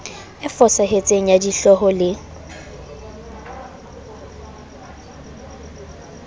e fosahetseng ya dihlooho le